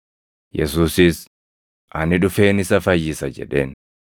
Yesuusis, “Ani dhufeen isa fayyisa” jedheen.